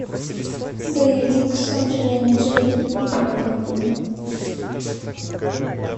боевик с анджелиной джоли и брэдом питтом